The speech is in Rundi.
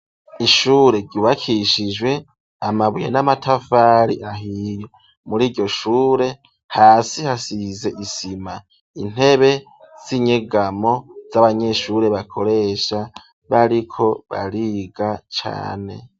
Ishure ryubakishijwe amabuye n'amatafari ahiye. Mur'iryo shure, hasi hasize isima, intebe z'inyegamo z'abanyeshuri bakoresha bariko bariga cane.